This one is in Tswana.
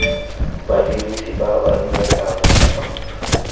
badirisi ba ba duelang kwa